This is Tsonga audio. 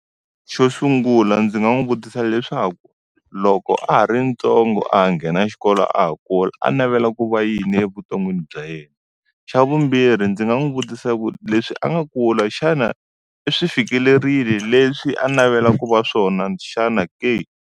Xo sungula ndzi nga n'wi vutisa leswaku, loko a ha ri ntsongo a ha nghena xikolo a ha kula, a navela ku va yini evuton'wini bya yena? Xa vumbirhi ndzi nga n'wi vutisa ku leswi a nga kula xana, i swi fikelerile leswi a navela ku va swona xana ke?